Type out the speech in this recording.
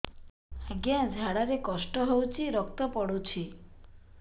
ଅଜ୍ଞା ଝାଡା ରେ କଷ୍ଟ ହଉଚି ରକ୍ତ ପଡୁଛି